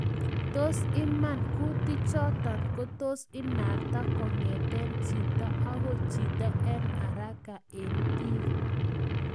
Tos iman kutik chotok kotos inakta kongetkei chito akoi chito eng haraka eng bik.